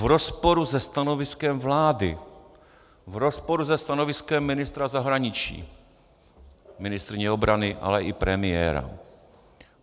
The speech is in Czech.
V rozporu se stanoviskem vlády, v rozporu se stanoviskem ministra zahraničí, ministryně obrany, ale i premiéra.